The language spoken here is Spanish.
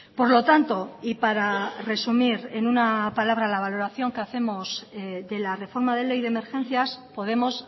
por lo tanto y para resumir en una palabra la valoración que hacemos de la reforma de ley de emergencias podemos